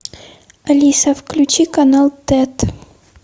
алиса включи канал тет